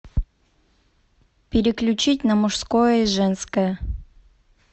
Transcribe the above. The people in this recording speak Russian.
переключить на мужское женское